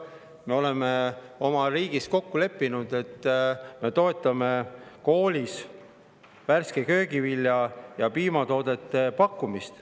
Me oleme oma riigis kokku leppinud, et me toetame koolis värske köögivilja ja piimatoodete pakkumist.